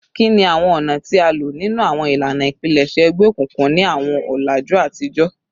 Kini awọn ọna ti a lo ninu awọn ilana ipilẹṣẹ egbeokunkun ni awọn ọlaju atijọ?